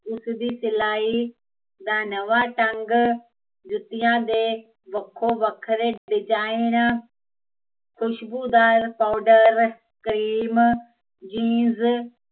ਉਸਦੀ ਸਿਲਾਈ, ਦਾ ਨਵਾਂ ਢੰਗ, ਜੁਤੀਂਆ ਦੇ ਵੱਖੋ ਵੱਖਰੇ ਖੁਸ਼ਬੂ ਦਾ ਕਰੀਮ